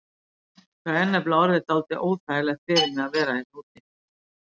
Það er nefnilega orðið dálítið óþægilegt fyrir mig að vera hérna úti.